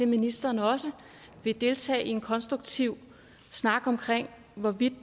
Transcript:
ministeren også vil deltage i en konstruktiv snak om hvorvidt